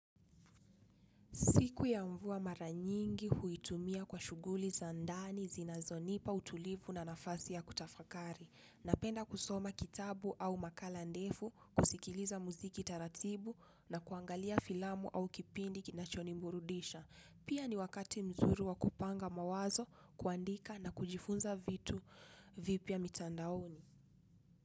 Siku ya mvua mara nyingi huitumia kwa shughuli za ndani zinazo nipa utulivu na nafasi ya kutafakari. Napenda kusoma kitabu au makala ndefu kusikiliza muziki taratibu na kuangalia filamu au kipindi kinacho niburudisha. Pia ni wakati mzuri wa kupanga mawazo kuandika na kujifunza vitu vipya mitandaoni.